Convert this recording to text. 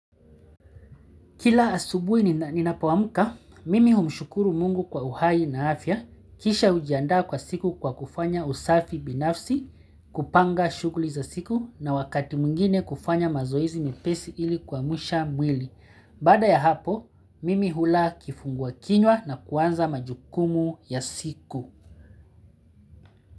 Kila asubuhi ninapoamka, mimi humshukuru mungu kwa uhai na afya, kisha hujiandaa kwa siku kwa kufanya usafi binafsi, kupanga shughuli za siku na wakati mwingine kufanya mazoezi mepesi ili kuamsha mwili. Baada ya hapo, mimi hula kifungua kinywa na kuanza majukumu ya siku.